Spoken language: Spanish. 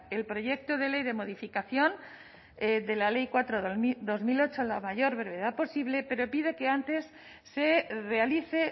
el proyecto de ley de modificación de la ley cuatro barra dos mil ocho a la mayor brevedad posible pero pide que antes se realice